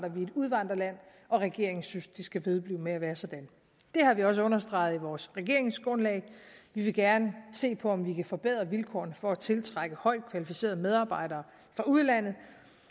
og udvandrerland og regeringen synes at det skal vedblive med at være sådan det har vi også understreget i vores regeringsgrundlag vi vil gerne se på om vi kan forbedre vilkårene for at tiltrække højtkvalificerede medarbejdere fra udlandet